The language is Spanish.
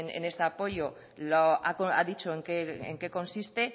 en este apoyo ha dicho en qué consiste